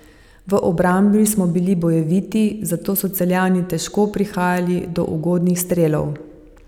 V obrambi smo bili bojeviti, zato so Celjani težko prihajali do ugodnih strelov.